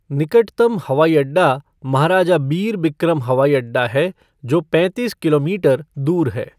निकटतम हवाई अड्डा महाराजा बीर बिक्रम हवाई अड्डा है जो पैंतीस किमीटर दूर है।